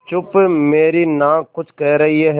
चुप मेरी नाक कुछ कह रही है